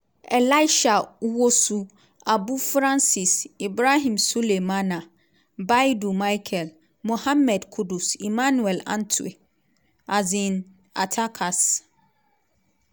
elisha owusu abu francis ibrahim sulemana baidoo michael mohammed kudus emmanuel antwi um attackers-